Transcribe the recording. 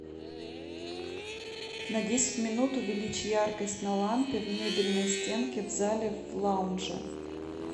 на десять минут увеличь яркость на лампе в мебельной стенке в зале в лаунже